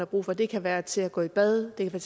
brug for det kan være til at gå i bad det kan